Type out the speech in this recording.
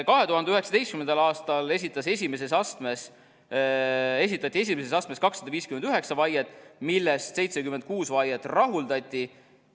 2019. aastal esitati esimeses astmes 259 vaiet, millest 76 vaiet rahuldati.